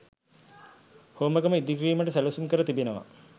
හෝමාගම ඉදිකිරීමට සැලසුම් කර තිබෙනවා.